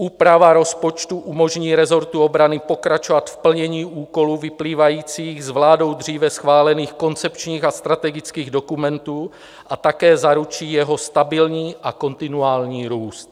Úprava rozpočtu umožní resortu obrany pokračovat v plnění úkolů vyplývajících s vládou dříve schválených koncepčních a strategických dokumentů a také zaručí jeho stabilní a kontinuální růst.